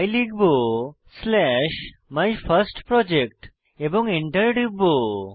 তাই লিখব slash my first project এবং Enter টিপব